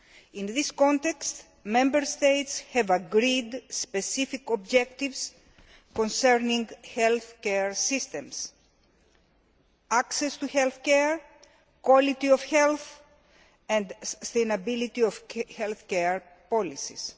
In this context Member States have agreed specific objectives concerning health care systems, access to health care, quality of health and sustainability of health care policies.